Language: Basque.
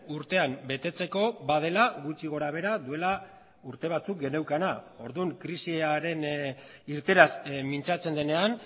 urtean betetzeko badela gutxi gora behera duela urte batzuk geneukana orduan krisiaren irteeraz mintzatzen denean